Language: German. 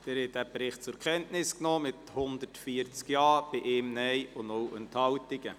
Sie haben den Bericht zur Kenntnis genommen mit 140 Ja- zu 1 Nein-Stimme bei 0 Enthaltungen.